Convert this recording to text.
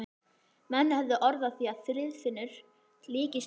Menn höfðu orð á því að Friðfinnur líktist engum.